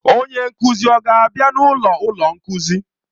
Onye nkuzi ọ ga-abịa n'ọnụ ụlọ nkuzi?